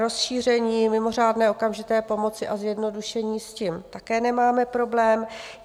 Rozšíření mimořádné okamžité pomoci a zjednodušení, s tím také nemáme problém.